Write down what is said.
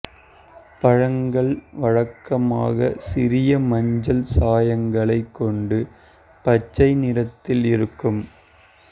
பழங்கள் வழக்கமாக சிறிய மஞ்சள் சாயங்களை கொண்டு பச்சை நிறத்தில் இருக்கும்